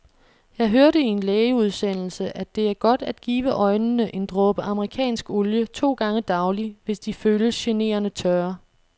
Jeg hørte i en lægeudsendelse, at det er godt at give øjnene en dråbe amerikansk olie to gange daglig, hvis de føles generende tørre.